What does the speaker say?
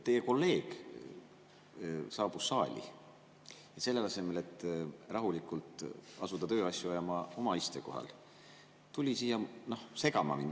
Teie kolleeg saabus saali ja selle asemel, et rahulikult asuda oma istekohal tööasju ajama, tuli siia mind segama.